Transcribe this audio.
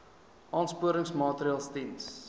aansporingsmaatre ls diens